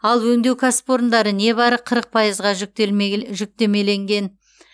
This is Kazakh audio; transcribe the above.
ал өңдеу кәсіпорындары небәрі қырық пайызға жүктемеленген